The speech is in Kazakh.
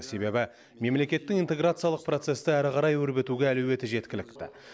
себебі мемлекеттің интеграциялық процесті әрі қарай өрбітуге әлеуеті жеткілікті